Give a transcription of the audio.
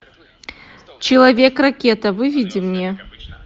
человек ракета выведи мне